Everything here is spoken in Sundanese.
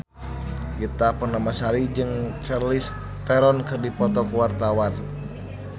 Ita Purnamasari jeung Charlize Theron keur dipoto ku wartawan